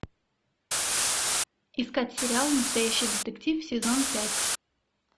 искать сериал настоящий детектив сезон пять